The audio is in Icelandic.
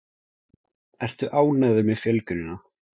Ertu ánægður með fjölgunina?